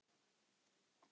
Lítum á eitt þessara mála.